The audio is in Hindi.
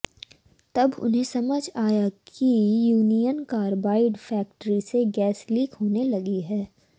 तब उन्हें समझ आया कि यूनियन कार्बाइड फैक्ट्री से गैस लीक होने लगी है